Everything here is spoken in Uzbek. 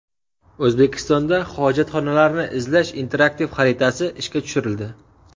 O‘zbekistonda hojatxonalarni izlash interaktiv xaritasi ishga tushirildi.